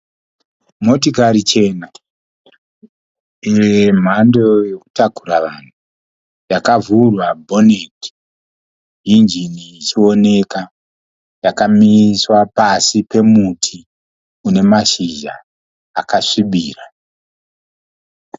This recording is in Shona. Motikari chena yemhando yokutakura vanhu yakavhurwa bhoneti injini ichiwoneka. Yakamiswa pasi pemuti une mashizha akasvibira.